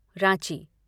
Ranchi